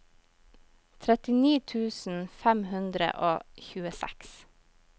trettini tusen fem hundre og tjueseks